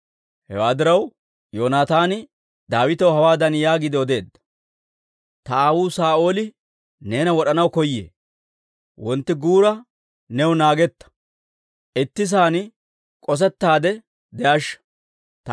Hewaa diraw, Yoonataani Daawitaw hawaadan yaagiide odeedda; «Ta aawuu Saa'ooli neena wod'anaw koyee; wontti guura new naagetta; itti sa'aan k'osettaade de'ashsha.